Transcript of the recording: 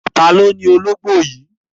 Ta ni ó ni ológò yìí?